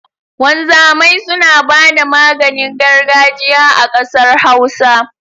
Wanzamai suna bada maganin gargajiya a ƙasar Hausa